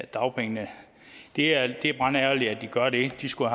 dagpengene det er det er brandærgerligt at de gør det de skulle